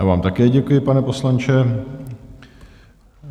Já vám také děkuji, pane poslanče.